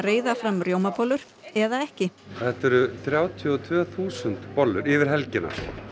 reiða fram rjómabollur eða ekki þetta eru þrjátíu og tvö þúsund bollur yfir helgina